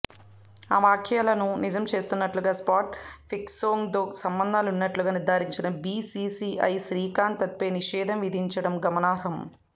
ఆ వ్యాఖ్యలను నిజం చేస్తున్నట్లుగా స్పాట్ ఫిక్సింగ్తో సంబంధాలున్నట్లు నిర్ధారించిన బీసీసీఐ శ్రీశాంత్పై నిషేధం విధించడం గమనార్హం